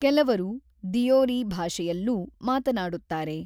ಕೆಲವರು ದಿಯೋರಿ ಭಾಷೆಯಲ್ಲೂ ಮಾತನಾಡುತ್ತಾರೆ.